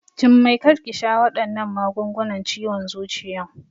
Jummai kar ki sha waɗannan magungunan ciwon zuciyan!